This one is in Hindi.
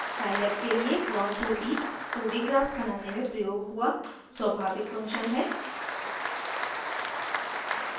साइलैब के लिए प्लॉट 2d 2d ग्राफ्स बनाने में प्रयोग हुआ स्वभाविक फंक्शन है